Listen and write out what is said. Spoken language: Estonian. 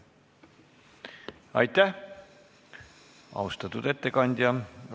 Aitäh, austatud ettekandja!